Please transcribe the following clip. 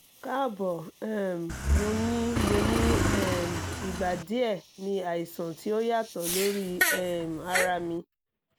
kaabo um mo ni mo ni um igba diẹ ni aisan ti o yatọ lori um ara mi